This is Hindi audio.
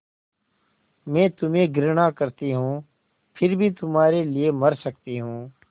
मैं तुम्हें घृणा करती हूँ फिर भी तुम्हारे लिए मर सकती हूँ